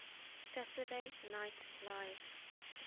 saturday night live